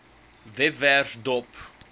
webwerf dop